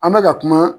An bɛ ka kuma